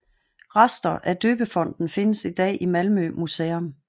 Rester af døbefonten findes i dag i Malmö Museum